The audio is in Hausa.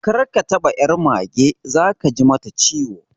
Kar ka taba ƴar mage, zaka ji mata ciwo